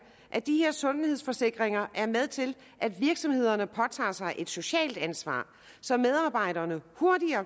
at de her sundhedsforsikringer er med til at virksomhederne påtager sig et socialt ansvar så medarbejderne